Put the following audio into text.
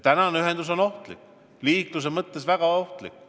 Praegused ühendused on liikluse mõttes väga ohtlikud.